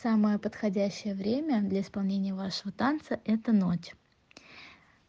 самое подходящее время для исполнения вашего танца это ночь